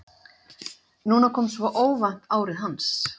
Núna kom svo óvænt árið hans.